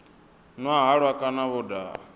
nwa halwa kana vho daha